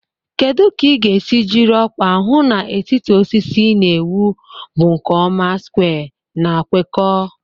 Kedu ka ị ga-esi jiri ọkwa hụ na etiti osisi ị na-ewu bụ nke ọma square na kwekọọ?